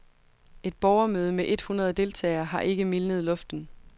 Et borgermøde med et hundrede deltagere har ikke mildnet luften.